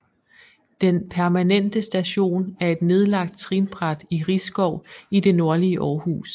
Den Permanente Station er et nedlagt trinbræt i Risskov i det nordlige Aarhus